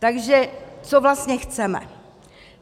Takže co vlastně chceme?